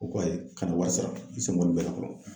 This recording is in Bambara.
U ko ko ayi, kana wari sara, i sen bɔ nin bɛɛ la